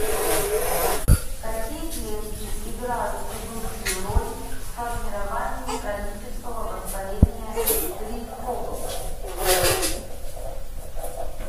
какие клетки играют ведущую роль в формировании хронического воспаления при хобл